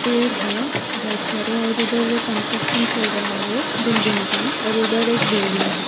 पेड़ है बहुत सारे और उधर कंस्ट्रक्शन चल रहा है बिल्डिंग का और उधर एक बिल्डिंग है।